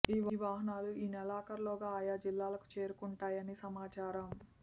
ఈ వాహనాలు ఈ నెలాఖరులోగా ఆయా జిల్లాలకు చేరుకుంటాయని సమాచారం